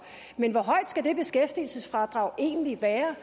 men hvor højt skal det beskæftigelsesfradrag egentlig være